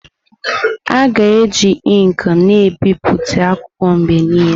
A ga-eji ink na ebipụta akwụkwọ mgbe niile.